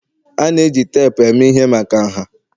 A na-eji teepu eme ihe maka nha